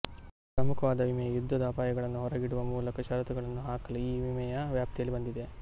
ಪ್ರಮುಖವಾದ ವಿಮೆಯು ಯುದ್ದದ ಅಪಾಯಗಳನ್ನು ಹೊರಗಿಡುವ ಮೂಲಕ ಷರತ್ತುಗಳನ್ನು ಹಾಕಲು ಈ ವಿಮೆಯ ಮ್ಯಾಪ್ತಿಯಲ್ಲಿ ಬಂದಿದೆ